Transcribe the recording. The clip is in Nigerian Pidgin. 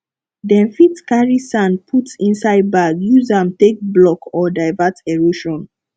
dem fit carry sand put inside bag use am take block or divert erosion